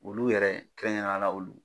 Olu yɛrɛ kɛrɛn kɛrɛnnen ya la olu